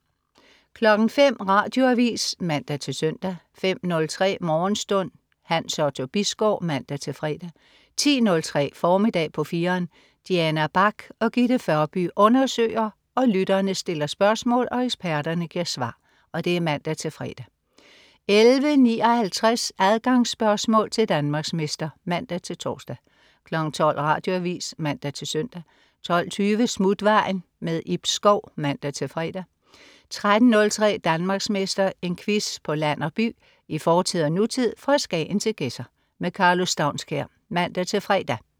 05.00 Radioavis (man-søn) 05.03 Morgenstund. Hans Otto Bisgaard (man-fre) 10.03 Formiddag på 4'eren. Diana Bach og Gitte Førby undersøger, lytterne stiller spørgsmål og eksperterne giver svar (man-fre) 11.59 Adgangsspørgsmål til Danmarksmester (man-tors) 12.00 Radioavis (man-søn) 12.20 Smutvejen. Ib Schou (man-fre) 13.03 Danmarksmester. En quiz på land og by, i fortid og nutid, fra Skagen til Gedser. Karlo Staunskær (man-fre)